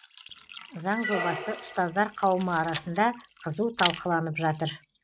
заң жобасы ұстаздар қауымы арасында қызу талқыланып жатыр